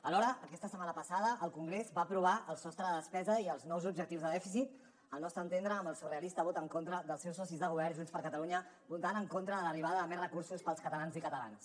alhora aquesta setmana passada el congrés va aprovar el sostre de despesa i els nous objectius de dèficit al nostre entendre amb el surrealista vot en contra dels seus socis de govern junts per catalunya votant en contra de l’arribada de més recursos per als catalans i catalanes